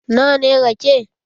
Na wa ne rake?